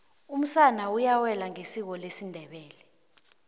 umsana uyawela ngesiko lesindebele